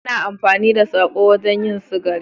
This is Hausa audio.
Ana amfani da sako wajen yin sigari